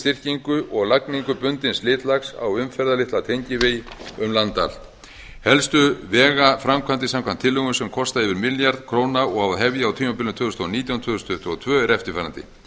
styrkingu og lagningu bundins slitlags á umferðarlitla tengivegi um land allt helstu vegaframkvæmdir samkvæmt tillögum sem kosta yfir milljarð króna og á að hefja á tímabilinu tvö þúsund og nítján til tvö þúsund tuttugu og tvö eru eftirfarandi